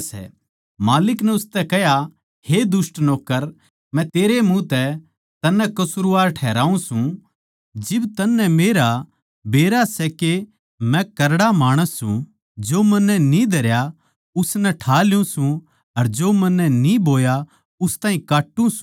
माल्लिक नै उसतै कह्या हे दुष्ट नौक्कर मै तेरैए मुँह तै तन्नै कसूरवार ठहराऊँ सूं जिब तन्नै मेरा बेरा सै के करड़ा माणस सूं जो मन्नै न्ही धरया उसनै ठा ल्यु सूं अर जो मन्नै न्ही बोया उस ताहीं काट्टू सूं